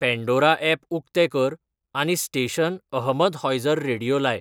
Pandora app उकतें कर आनी स्टेशन अहमद हॉइझर रेडीयो लाय